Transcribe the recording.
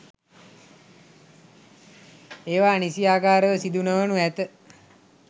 ඒවා නිසියාකාරව සිදු නොවනු ඇත.